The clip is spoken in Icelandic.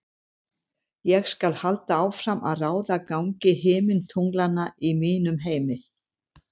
Ég skal halda áfram að ráða gangi himintunglanna í mínum heimi.